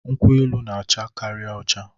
nkwu-elu n'acha Kari ocha